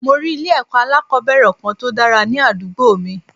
Mo rí ilé èkó alákòóbèrè Kan tòdára ní àdúgbò mi